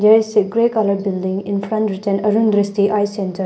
There is a gray colour building. In front written arun dristI eye center.